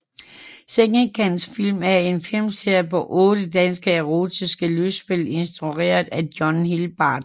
Sengekantsfilm er en filmserie på otte danske erotiske lystspil instrueret af John Hilbard